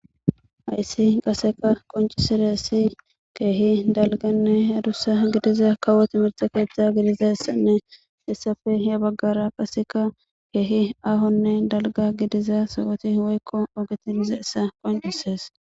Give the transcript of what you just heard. hayssi qaseka qoncisizaysi keehi dalganne adussa gidiza kawo timirta keeththa gidizassanne hessafe ya baggara qaseka keehi ahonne dalga gidiza sowoti woykko ogeti bizayssa qoncises